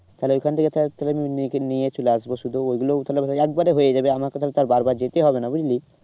তাহলে ওইখান থেকে তাহলে নিয়ে চলে আসবো শুধু ওইগুলোও তাহলে একবারে হয়ে যাবে আমাকে তাহলে তো আর বার বার যেতে হবে না বুঝলি।